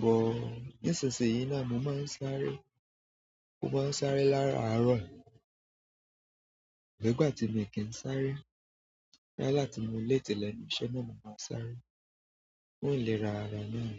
but, nísinsìnyí náà mo máa ń sáré. Mo máa ń sáré láràárọ̀. Ko si gba ti mi ki n sáré yálà bi mo late lẹ́nu iṣẹ́ náà ni ma sáré fún ìlera ara náà.